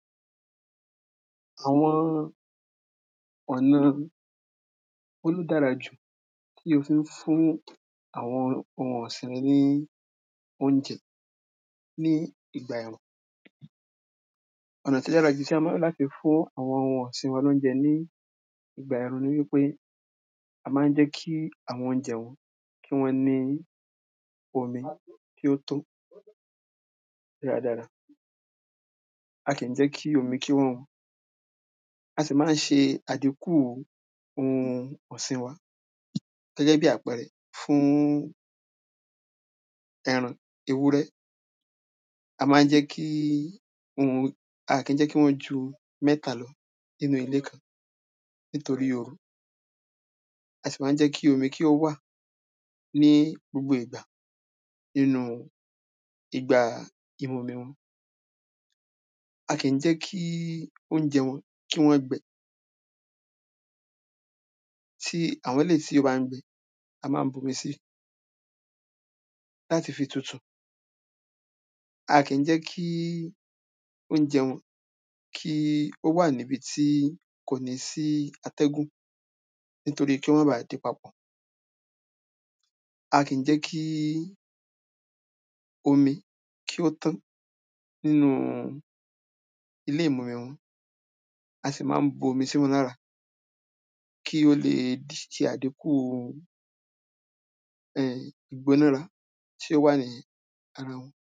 Àwọn ọ̀nà wo ló dáɹa jù tí o fí ń fún àwọn ohun ọ̀sìn rẹ ní óúnjẹ ní ìgbà ẹ̀rùn? Ọ̀nà tó ó dára jù tí a má ń lò láti fún àwọn ohun ọ̀sìn wa lóúnjẹ ní ìgbà ẹ̀rùn ni wípé a má ń jẹ́ kí àwọn oúnjẹ wọn kí wọ́n ní omi tí ó tó dára dára. A kì í jẹ́ kí omi kí ó wọn. A sì má ń se àdínkù ohun ọ̀sìn wa. Gẹ́gẹ́ bí àpẹrẹ fún ẹran ewúrẹ́, a má ń jẹ́ kí ohun a kí jẹ́ kí wọ́n ju mẹ́ta lọ nínú ilé nítorí oru. A sì má ń jẹ́ kí omi kí ó wà ní gbogbo ìgbà nínú igbá ìmumi wọn. A kí jẹ́ kí óúnjẹ wọn kí wọ́n gbẹ. Ti àwọn eléí tí ó bá ń gbẹ, a má ń bomi si. Láti fi tutù. A kí jẹ́ kí óúnjẹ wọn kí ó wà ní ibi tí kò ní sí atẹ́gùn. Nítorí kí ó má baà dí papọ̀. A kí jẹ́ kí omi kí ó tán nínu ilé ìmumi wọn. A sì má ń bomi sí wọn lára. Kí o le se àdínku um ìgbónára tí ó wà ní ara wọn.